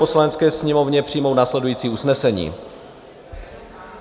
Poslanecké sněmovně přijmout následující usnesení: